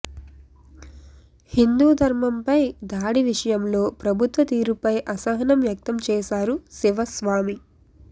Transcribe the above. హిందూ ధర్మం పై దాడి విషయంలో ప్రభుత్వ తీరుపై అసహనం వ్యక్తం చేశారు శివ స్వామి